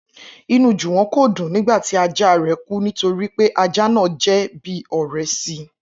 Inú Jùwọ́n kò dùn nígbà tí ajá rẹ̀ kú nítorí pé ajá náà jẹ́ bí ọ̀rẹ́ si